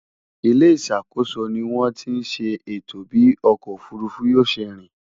ilé ìṣàkóso ní wón tí ṣe ètò bi ọkọ òfurufú yóò ṣé rìn